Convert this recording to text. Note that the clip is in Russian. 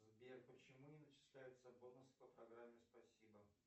сбер почему не начисляются бонусы по программе спасибо